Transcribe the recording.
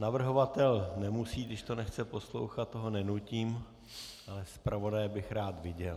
Navrhovatel nemusí, když to nechce poslouchat, toho nenutím, ale zpravodaje bych rád viděl.